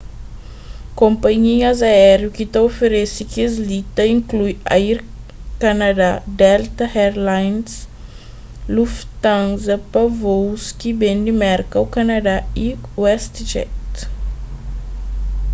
konpanhias aériu ki ta oferese kes-li ta inklui air canada delta air lines lufthansa pa vôus ki ben di merka ô kanadá y westjet